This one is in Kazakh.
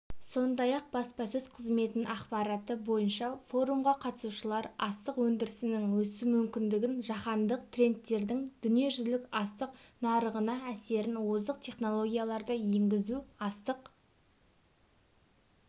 сондай-ақ баспасөз қызметінің ақпараты бойынша форумға қатысушылар астық өндірісінің өсу мүмкіндігін жаһандық трендтердің дүниежүзілік астық нарығына әсерін озық технологияларды енгізу астық